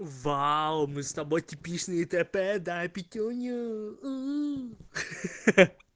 вау мы с тобой типичные тп дай пятюню уу